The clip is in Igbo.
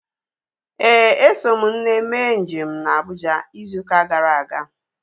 Éè, eso m nne mee njem na Abuja ịzụ ụka gara aga